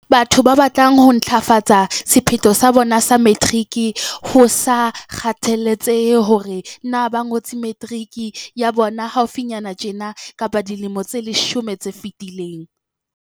Batho ba batlang ho ntlafatsa sephetho sa bona sa materiki, ho sa kgathaletsehe hore na ba ngotse materiki ya bona haufinyana tjena kapa dilemo tse leshome tse fetileng.